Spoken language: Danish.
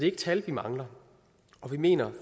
ikke tal vi mangler og vi mener